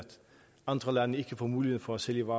andre lande ikke får mulighed for at sælge